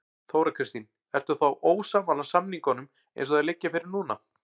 Þóra Kristín: Ertu þá ósammála samningunum eins og þeir liggja fyrir núna?